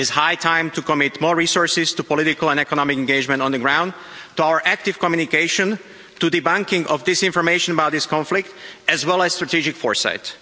It is high time to commit more resources to political and economic engagement on the ground, to our active communication, to debunking of disinformation about this conflict as well as strategic foresight.